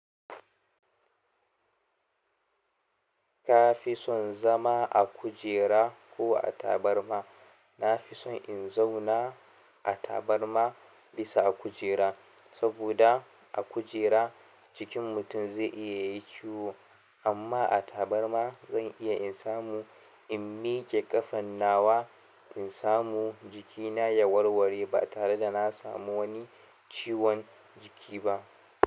Ka fi son zama a kujera ko a tabarma? Na fi son in zauna a tabarma bisa a kujera. Saboda a kujera jikin mutum zai iya yi ciwo amma a tabarma zan iya in samu in miƙe ƙafan nawa in samu jikina ya warware ba tare da na samu wani ciwon jiki ba.